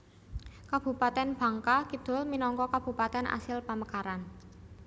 Kabupatèn Bangka Kidul minangka Kabupatèn asil pamekaran